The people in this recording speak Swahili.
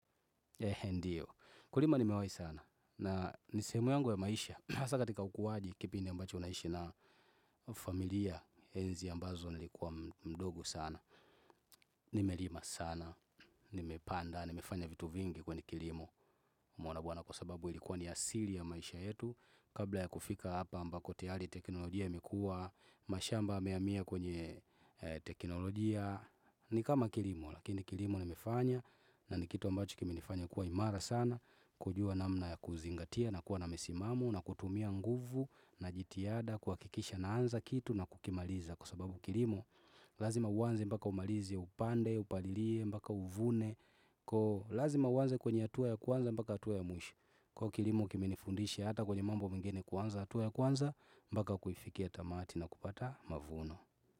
Ndiyo, kulima nimewai sana, na ni sehemu yangu ya maisha, hasa katika ukuwaji kipindi ambacho unaishi na familia, enzi ambazo nilikuwa mdogo sana, nime lima sana, nime panda, nimefanya vitu vingi kwenye kilimo, mwana bwana kwa sababu ilikuwa ni asili ya maisha yetu, kabla ya kufika hapa ambako tiyari teknolojia imekua, mashamba yameamia kwenye teknolojia, ni kama kilimo, lakini kilimo nimefanya, na ni kitu ambacho kimenifanya kuwa imara sana, kujua namna ya kuzingatia na kuwa na misimamu na kutumia nguvu na jitihada kuwakikisha naanza kitu na kukimaliza Kwa sababu kilimo lazima uwanze mbaka umalizi ya upande, upalilie, mbaka uvune Lazima uwanze kwenye hatua ya kwanza mbaka hatua ya mwisho Kwa kilimo kimenifundishi hata kwenye mambo mengine kwanza hatua ya kwanza Mbaka kuifikia tamati na kupata mavuno.